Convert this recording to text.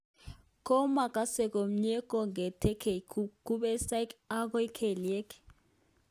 Komaakase komye kong'etegei kubesoik agoi kelyek